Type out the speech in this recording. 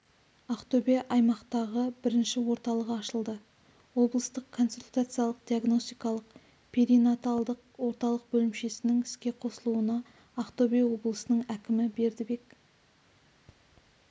ақтөбеде аймақтағы бірінші орталығы ашылды облыстық консультациялық-диагностикалық перинаталдық орталық бөлімшесінің іске қосылуына ақтөбе облысының әкімі бердібек